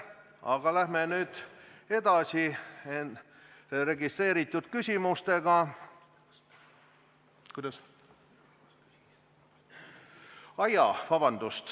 Aga läheme nüüd edasi registreeritud küsimustega.